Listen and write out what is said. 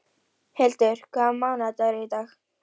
Magnús: Er þetta heitt mál í sveitarfélaginu?